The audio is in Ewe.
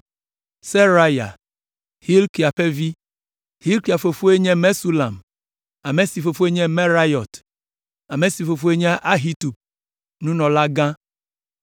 Seraya, Hilkia ƒe vi. Hilkia fofoe nye Mesulam, ame si fofoe nye Merayot, ame si fofoe nye Ahitub, nunɔlagã.